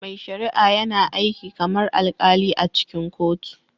Mai shari'a yana aiki kamar alkali a cikin kotu